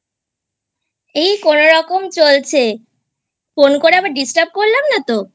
এই কোনরকম চলছে Phone করে আবার Disturb করলাম না তো?